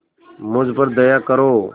मुझ पर दया करो